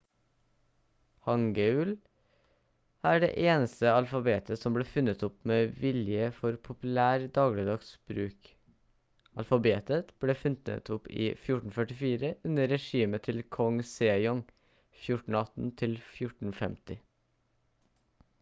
hangeul er det eneste alfabetet som ble funnet opp med vilje for populær dagligdags bruk. alfabetet ble funnet opp i 1444 under regimet til kong sejong 1418–1450